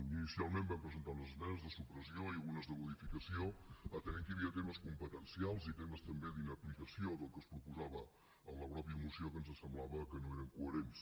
inicialment vam presentar unes esmenes de supressió i unes de modificació atenent que hi havia temes competencials i temes també d’inaplicació del que es proposava a la mateixa moció que ens semblava que no eren coherents